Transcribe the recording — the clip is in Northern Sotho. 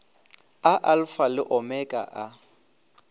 a alfa le omega a